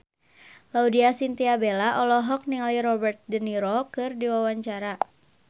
Laudya Chintya Bella olohok ningali Robert de Niro keur diwawancara